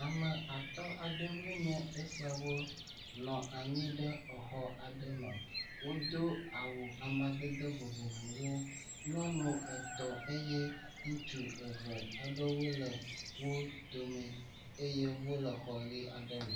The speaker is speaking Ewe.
Ame atɔ̃ aɖewoe nyue esiawo nɔ anyi ɖe exɔ aɖe me. Wodo awu amadede vovovowo. Nyɔnu etɔ̃ eye ŋutsu eve aɖewo le wo dome eye wole xɔ ʋi aɖe me.